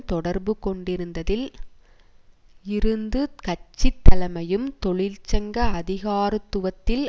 தொடர்பு கொண்டிருந்ததில் இருந்து கட்சி தலைமையும் தொழிற்சங்க அதிகாரத்துவத்தில்